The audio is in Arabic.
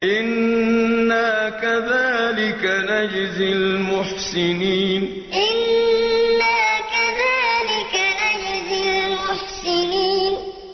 إِنَّا كَذَٰلِكَ نَجْزِي الْمُحْسِنِينَ إِنَّا كَذَٰلِكَ نَجْزِي الْمُحْسِنِينَ